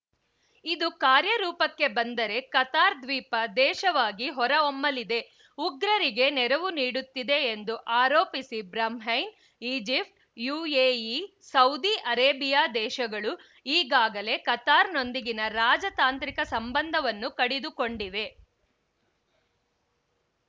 ಇದು ಕಾರ್ಯರೂಪಕ್ಕೆ ಬಂದರೆ ಕತಾರ್‌ ದ್ವೀಪ ದೇಶವಾಗಿ ಹೊರಹೊಮ್ಮಲಿದೆ ಉಗ್ರರಿಗೆ ನೆರವು ನೀಡುತ್ತಿದೆ ಎಂದು ಆರೋಪಿಸಿ Bahrain Egypt UAE Saudi Arabia ದೇಶಗಳು ಈಗಾಗಲೇ ಕತಾರ್‌ನೊಂದಿಗಿನ ರಾಜತಾಂತ್ರಿಕ ಸಂಬಂಧವನ್ನು ಕಡಿದುಕೊಂಡಿವೆ